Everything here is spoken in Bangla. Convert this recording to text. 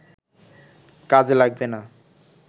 কাজে লাগবে না